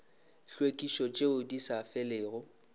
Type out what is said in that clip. tlhwekišo tšeo di sa felego